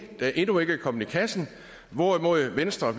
der endnu ikke er kommet i kassen hvorimod venstre